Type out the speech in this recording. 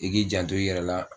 I k'i janto i yɛrɛ la